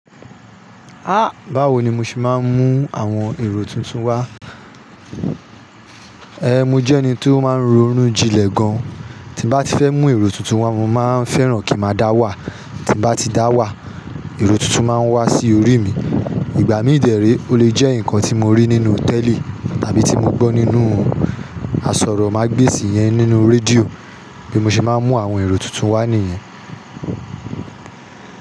Há báwo ni mo ṣe máa ń mú àwọn èrò tuntun wá? Ẹ̀ẹ́ mo jẹ́ ẹni tó máa ń ronú jinlẹ̀ gan-an, tí n bá ti fẹ́ mú èrò tuntun wá mo máa ń fẹ́ràn kí n ma dá wà. Tí n bá ti dá wà, èrò tuntun máa wá sí orí mi. Ìgbà mí dèéré ó lè jẹ́ nǹkan tí mo rí nínú tẹ́ẹ̀lì tàbí tí mo gbọ́ nínú àsọ̀rọ̀ mágbesì iyẹn nínú radio bí mo ṣe máa ń mú àwọn èrò tuntun wá nìyẹn.